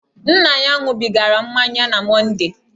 Nna ya ṅụbigara mmanya na Mondee.